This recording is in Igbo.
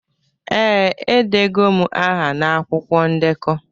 Ee, edego m aha na akwụkwọ ndekọ